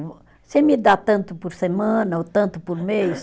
Você me dá tanto por semana ou tanto por mês?